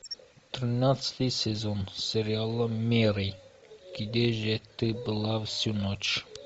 тринадцатый сезон сериала мэри где же ты была всю ночь